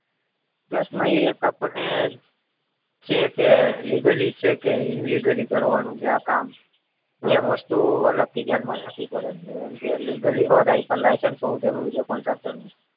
plus નો ઈ એક આપણને છે કે legally છે કે illegally કવાનું છે આ કામ ને વસ્તુ અલગ થી ધ્યાન માં રાખવી પડે એમ તો યાર legally license હોવું જરૂરી છે contractor નું